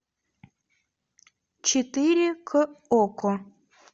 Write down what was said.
четыре к окко